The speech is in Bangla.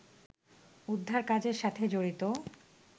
উদ্ধারকাজের সাথে জড়িত